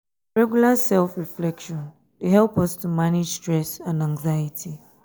regular self-reflection dey help us to manage stress and anxiety.